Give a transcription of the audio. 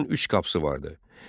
Qalanın üç qapısı vardı.